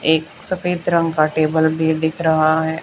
एक सफेद रंग का टेबल भी दिख रहा है।